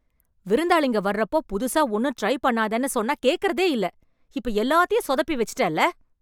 விருந்தாளிங்க வர்றப்போ புதுசா ஒண்ணும் ட்ரை பண்ணாதன்னு சொன்னா கேக்கறதே இல்ல... இப்ப எல்லாத்தயும் சொதப்பி வெச்சுட்டேல்ல.